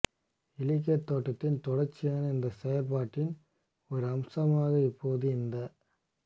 இலக்கியத் தோட்டத்தின் தொடர்ச்சியான இந்தச் செயற்பாட்டின் ஒரு அம்சமாக இப்போது இந்த